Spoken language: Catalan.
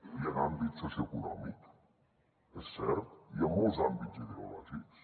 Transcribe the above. i en l’àmbit socioeconòmic és cert i en molts àmbits ideològics